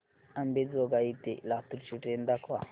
अंबेजोगाई ते लातूर ची ट्रेन दाखवा